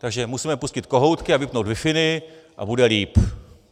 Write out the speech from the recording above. Takže musíme pustit kohoutky a vypnout wifiny a bude líp!